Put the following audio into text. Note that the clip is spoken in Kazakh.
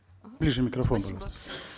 ага ближе микрофон спасибо